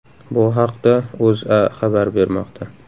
Bu haqda O‘zA xabar bermoqda .